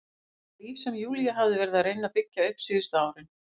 Það líf sem Júlía hafði verið að reyna að byggja upp síðustu árin.